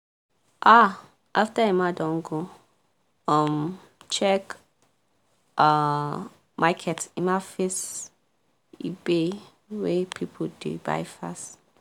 um after emma don go um check um market emma face ebay wey people dey buy fast